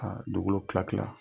A dugukolo kila kila.